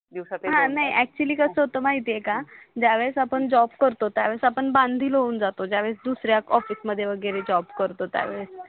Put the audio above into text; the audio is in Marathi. ज्यावेळेस आपण जॉब करतो त्यावेळेस आपण बांधील होऊन जातो ज्यावेळेस दुसऱ्या ऑफिसमध्ये वगैरे जॉब करतो त्यावेळेस